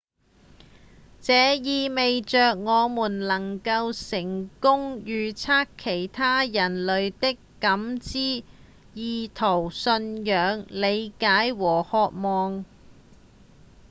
這意味著我們能夠成功預測其他人類的感知、意圖、信仰、理解和渴望